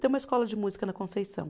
Tem uma escola de música na Conceição.